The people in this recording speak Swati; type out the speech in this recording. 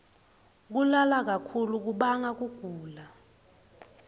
kulala kakhulu kubanga kugula